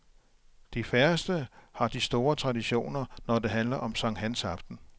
De færreste har de store traditioner når det handler om sankthansaften.